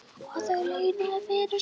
Og það launaði fyrir sig.